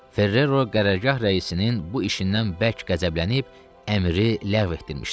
Ferrero qərargah rəisinin bu işindən bərk qəzəblənib əmri ləğv etdirmişdi.